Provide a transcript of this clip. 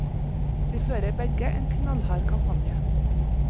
De fører begge en knallhard kampanje.